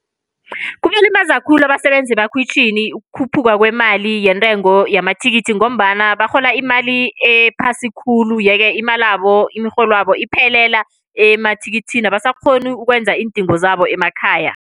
Kubalimaza khulu abasebenzi emakhwitjhini ukukhuphuka kwemali yentengo yamathikithi, ngombana barhola imali ephasi khulu, yeke imalabo imirholwabo iphelela emathikithini. Abasakghoni ukwenza iindingo zabo emakhaya.